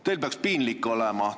Teil peaks piinlik olema.